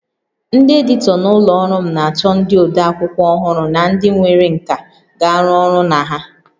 Ndị editọ na ụlọ ọrụ m na-achọ ndị ode akwụkwọ ọhụrụ na ndị nwere nkà ga-arụ ọrụ na ha